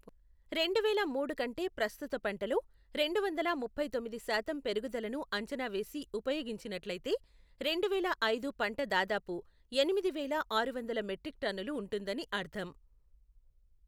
రెండువేల మూడు కంటే ప్రస్తుత పంటలో, రెండు వందల ముప్పై తొమ్మిది శాతం పెరుగుదలను అంచనా వేసి ఉపయోగించినట్లయితే, రెండువేల ఐదు పంట దాదాపు ఎనిమిది వేల ఆరు వందలు మెట్రిక్ టన్నులు ఉంటుందని అర్ధం.